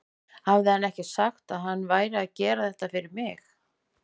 Hafði hann ekki sagt að hann væri að gera þetta fyrir mig?